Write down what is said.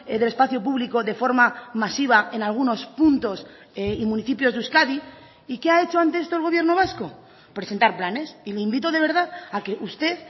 del espacio público de forma masiva en algunos puntos y municipios de euskadi y qué ha hecho ante esto el gobierno vasco presentar planes y le invito de verdad a que usted